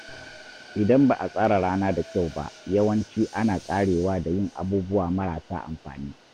Idan ba a tsara rana da kyau ba, yawanci ana ƙarewa da yin abubuwa marasa amfani.